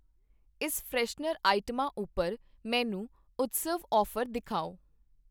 ਇਸ ਫਰੈਸ਼ਨਰ ਆਈਟਮਾਂ ਉਪਰ ਮੈਨੂੰ ਉਤਸਵ ਆਫ਼ਰ ਦਿਖਾਓ